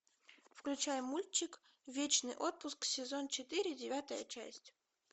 включай мультик вечный отпуск сезон четыре девятая часть